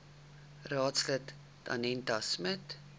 raadslid danetta smit